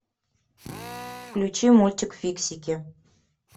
включи мультик фиксики